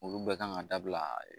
Olu bɛɛ kan ka dabila